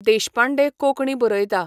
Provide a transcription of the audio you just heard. देशपांडे कोंकणी बरयता.